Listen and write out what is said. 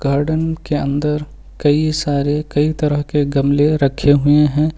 Garden के अंदर कई सारे कई तरह के गमले रखे हुए हैं।